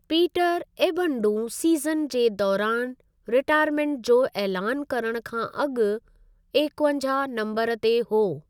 Peter एबडूं season जे दौरानि रीटाइरमेंट जो ऐलानु करणु खां अॻु एक्वंजाहु नम्बरु ते हो।